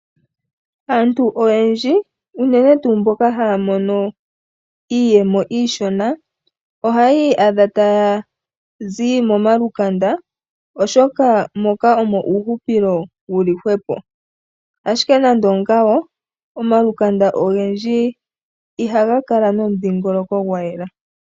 Aantu oyendji, unene tuu mboka haya mono iiyemo iishona, ohayi iyadha taya zi momalukanda oshoka moka omo uuhupilo wuli hwepo. Ashike nande ongaaka, omalukanda ogendji ihaga kala nomudhiingoloko gwa yela.